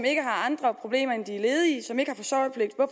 ikke har andre problemer end at de er ledige